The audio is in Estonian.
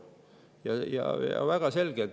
Väga selge!